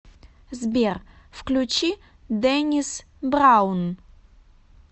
сбер включи дэннис браун